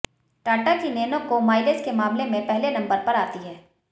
टाटा की नैनो को माइलेज के मामले में पहले नंबर पर आती है